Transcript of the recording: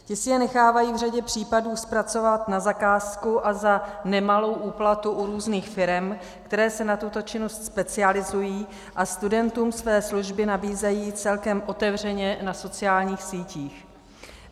Ti si je nechávají v řadě případů zpracovat na zakázku a za nemalou úplatu u různých firem, které se na tuto činnost specializují a studentům své služby nabízejí celkem otevřeně na sociálních sítích.